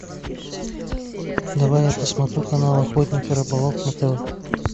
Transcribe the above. давай я посмотрю канал охотник и рыболов на тв